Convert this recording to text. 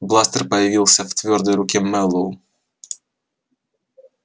бластер появился в твёрдой руке мэллоу